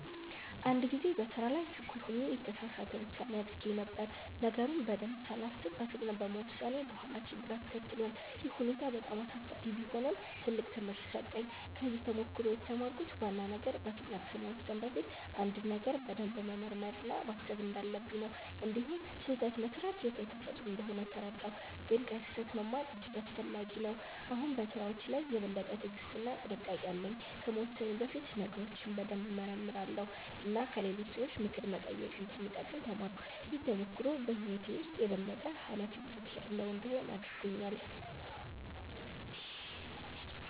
አንድ ጊዜ በስራ ላይ ችኩል ሆኜ የተሳሳት ውሳኔ አድርጌ ነበር። ነገሩን በደንብ ሳላስብ በፍጥነት በመወሰኔ በኋላ ችግር አስከትሏል። ይህ ሁኔታ በጣም አሳሳቢ ቢሆንም ትልቅ ትምህርት ሰጠኝ። ከዚህ ተሞክሮ የተማርኩት ዋና ነገር በፍጥነት ከመወሰን በፊት አንድን ነገር በደንብ መመርመር እና ማሰብ እንዳለብኝ ነው። እንዲሁም ስህተት መስራት የሰው ተፈጥሮ እንደሆነ ተረዳሁ፣ ግን ከስህተት መማር እጅግ አስፈላጊ ነው። አሁን በስራዎቼ ላይ የበለጠ ትዕግስት እና ጥንቃቄ አለኝ። ከመወሰኔ በፊት ነገሮችን በደንብ እመረምራለሁ እና ከሌሎች ሰዎች ምክር መጠየቅ እንደሚጠቅም ተማርኩ። ይህ ተሞክሮ በህይወቴ ውስጥ የበለጠ ኃላፊነት ያለው እንድሆን አድርጎኛል።